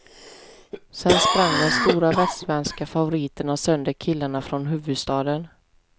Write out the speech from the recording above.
Sen sprang de stora västsvenska favoriterna sönder killarna från huvudstaden.